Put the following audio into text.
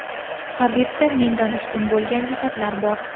Habibda mendan ustun bo‘lgan jihatlar bor.